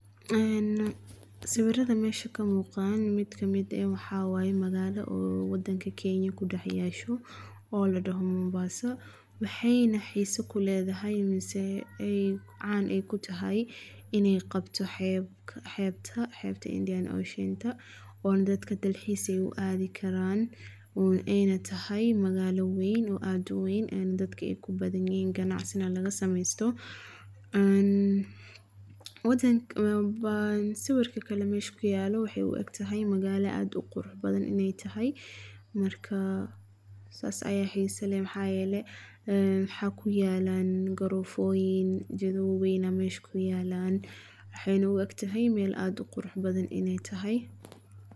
Haan. Sawiraha meshan ka muuqaan mid ka mid ee waxa waaye magaalo oo waddanka Kenya ku dhaxayaashu. Oo la dhahmo Mombasa waxay naaxiiso kuleedaha, yameen see ay caan ay ku tahay inay qabto xeeb xeebta Xeebta Indian Ocean ta. Oon dadka dalxiis ay u aadi karaan oon inay tahay magaalo weyn oo aad weyn dadka ay ku badan yee ganacsi na laga sameysto. Uun waddanka baan si warka kala meeshku yaalo waxay u eg tahay magaalo aad qurxin badan inay tahay markaa saas ayaxi saleem xayale. Xa ku yaalan garooyin jadoobyin ama isku yaalaan. Axaynu u eg tahay meel aad qurxin badan iney tahay.